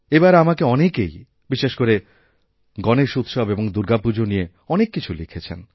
এবার আমাকে অনেকেই বিশেষ করেগণেশ উৎসব এবং দুর্গাপুজা নিয়ে অনেক কিছু লিখেছেন